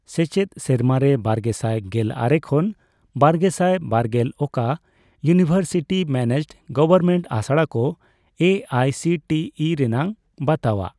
ᱥᱮᱪᱮᱫ ᱥᱮᱨᱢᱟᱨᱮ ᱵᱟᱨᱜᱮᱥᱟᱭ ᱜᱮᱞ ᱟᱨᱮ ᱠᱷᱚᱱ ᱵᱟᱨᱜᱮᱥᱟᱭ ᱵᱟᱨᱜᱮᱞ ᱚᱠᱟ ᱤᱭᱩᱱᱤᱣᱮᱨᱥᱤᱴᱤ ᱢᱮᱱᱮᱡᱰᱼᱜᱚᱣᱚᱨᱢᱮᱱᱴ ᱟᱥᱲᱟ ᱠᱚ A I C T E ᱨᱮᱱᱟᱜ ᱵᱟᱛᱟᱣᱟᱜ ?